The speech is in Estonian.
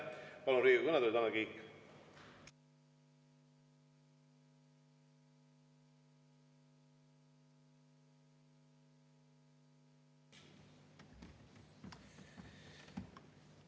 Palun Riigikogu kõnetooli, Tanel Kiik!